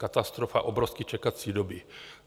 Katastrofa, obrovské čekací doby.